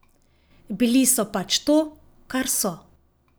Bili so pač to, kar so.